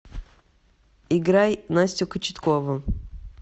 играй настю кочеткову